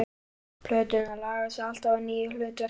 Plöturnar laga sig alltaf að nýju hlutverki.